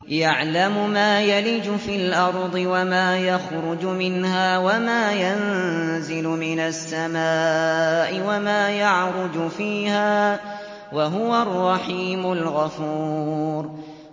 يَعْلَمُ مَا يَلِجُ فِي الْأَرْضِ وَمَا يَخْرُجُ مِنْهَا وَمَا يَنزِلُ مِنَ السَّمَاءِ وَمَا يَعْرُجُ فِيهَا ۚ وَهُوَ الرَّحِيمُ الْغَفُورُ